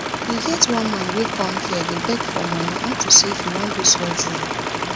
e get one man wey come here dey beg money unto say he wan do surgery